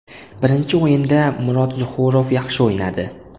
Birinchi o‘yinda Murod Zuhurov yaxshi o‘ynadi.